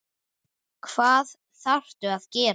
Hvað þarftu að gera?